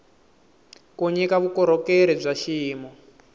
ku nyika vukorhokeri bya xiyimo